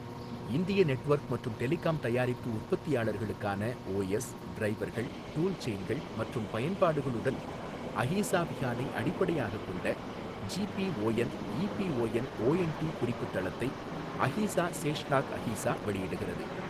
இந்திய நெட்வொர்க் மற்றும் டெலிகாம் தயாரிப்பு உற்பத்தியாளர்களுக்கான ஓஎஸ், டிரைவர்கள், டூல்செயின்கள் மற்றும் பயன்பாடுகளுடன் அஹீசா விஹானை அடிப்படையாகக் கொண்ட ஜிபிஓஎன் ஈபிஓஎன் ஓஎன்டி குறிப்பு தளத்தை அஹீசா சேஷ்நாக் அஹீசா வெளியிடுகிறது.